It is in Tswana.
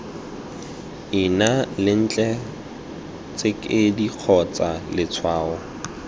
ina lentle tsekedi kgotsa letshwao